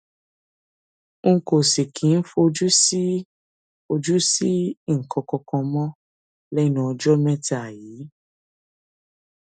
n kò sì kí ń fojú sí fojú sí nǹkan kan mọ lẹnu ọjọ mẹta yìí